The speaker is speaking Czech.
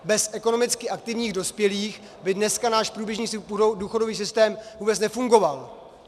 Bez ekonomicky aktivních dospělých by dneska náš průběžný důchodový systém vůbec nefungoval.